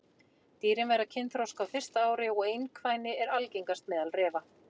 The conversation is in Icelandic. Dýrin verða kynþroska á fyrsta ári og einkvæni er algengast meðal refa.